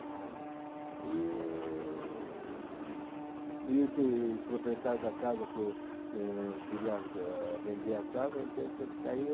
E... e esse proprietário da casa que eh queria ãh vender a casa, então eu tinha que sair.